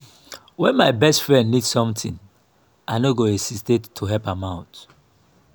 when my best friend need something i no go hesitate to help am out.